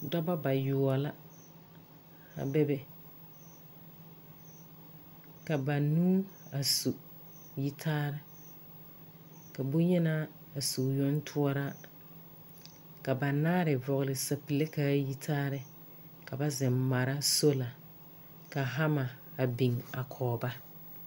Dɔbɔ ba yoɔbo la a be be. Ka banuu a su yitaare, ka boŋyenaa a su o yoŋ toɔraa, ka banaare vɔɔle sapile kaa yi taarɛɛ ka ba zeŋ mara soola ka hama biŋ kɔge ba.